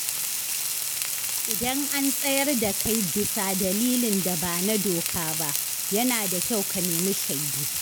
Idan an tsayar da kai bisa dalilin da ba na doka ba, yana da kyau ka nemi shaidu.